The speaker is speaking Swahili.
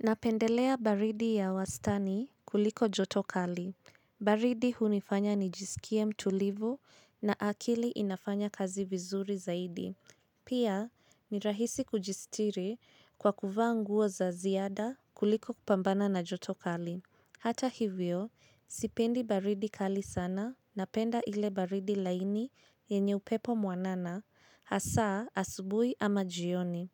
Napendelea baridi ya wastani kuliko joto kali. Baridi hunifanya nijisikie mtulivu na akili inafanya kazi vizuri zaidi. Pia, ni rahisi kujisitiri kwa kuvaa nguo za ziada kuliko kupambana na joto kali. Hata hivyo, sipendi baridi kali sana napenda ile baridi laini yenye upepo mwanana, hasa asubuhi ama jioni.